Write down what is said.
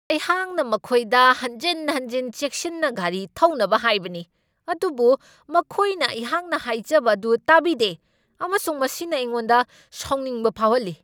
ꯑꯩꯍꯥꯛꯅ ꯃꯈꯣꯏꯗ ꯍꯟꯖꯤꯟ ꯍꯟꯖꯤꯟ ꯆꯦꯛꯁꯤꯟꯅ ꯒꯥꯔꯤ ꯊꯧꯅꯕ ꯍꯥꯏꯕꯅꯤ, ꯑꯗꯨꯕꯨ ꯃꯈꯣꯏꯅ ꯑꯩꯍꯥꯛꯅ ꯍꯥꯏꯖꯕ ꯑꯗꯨ ꯇꯥꯕꯤꯗꯦ ꯑꯃꯁꯨꯡ ꯃꯁꯤꯅ ꯑꯩꯉꯣꯟꯗ ꯁꯥꯎꯅꯤꯡꯕ ꯐꯥꯎꯍꯜꯂꯤ꯫